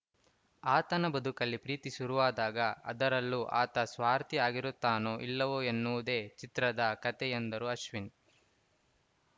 ಆತನ ಬದುಕಲ್ಲಿ ಪ್ರೀತಿ ಶುರುವಾದಾಗ ಅದರಲ್ಲೂ ಆತ ಸ್ವಾರ್ಥಿ ಆಗಿರುತ್ತಾನೋ ಇಲ್ಲವೋ ಎನ್ನುವುದೇ ಚಿತ್ರದ ಕತೆ ಎಂದರು ಅಶ್ವಿನ್‌